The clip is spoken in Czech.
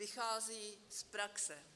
Vychází z praxe.